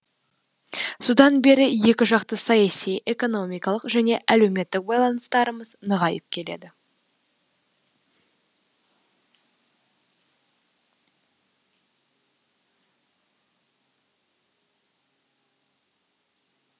содан бері екіжақты саяси экономикалық және әлеуметтік байланыстарымыз нығайып келеді